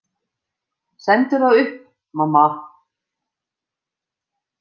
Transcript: Sendu þá upp, mamma.